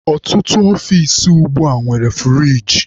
Ọtụtụ ọfici ugbua nwere furigi.